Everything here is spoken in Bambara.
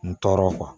N tɔɔrɔ